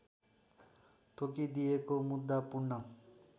तोकिदिएको मुद्दा पूर्ण